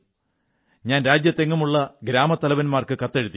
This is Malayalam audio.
ഞാൻ രാജ്യത്തെങ്ങുമുള്ള ഗ്രാമത്തലവന്മാർക്ക് കത്തെഴുതി